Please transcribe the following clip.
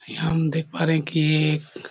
हम देख पा है की--